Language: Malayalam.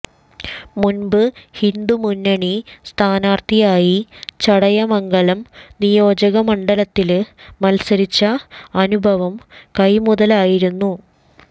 മുമ്പ് ഹിന്ദുമുന്നണി സ്ഥാനാര്ഥിയായി ചടയമംഗലം നിയോജകമണ്ഡലത്തില് മത്സരിച്ച അനുഭവം കൈമുതലായിരുന്നു